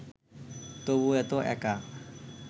তবু এত একা